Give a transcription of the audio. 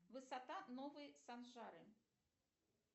высота новой саншары